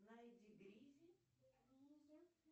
найди гриззи